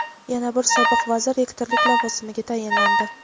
Yana bir sobiq vazir rektorlik lavozimiga tayinlandi.